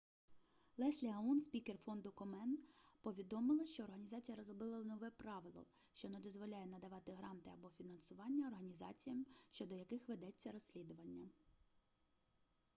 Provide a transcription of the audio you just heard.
леслі аун спікер фонду комен повідомила що організація розробила нове правило що не дозволяє надавати гранти або фінансування організаціям щодо яких ведеться розслідування